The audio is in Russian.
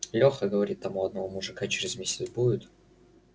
леха говорит там у одного мужика через месяц будет